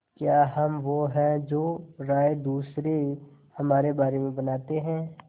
क्या हम वो हैं जो राय दूसरे हमारे बारे में बनाते हैं